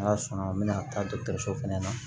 N'ala sɔnna an bɛna taa dɔgɔtɔrɔso fɛnɛ na